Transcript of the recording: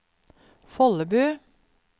Follebu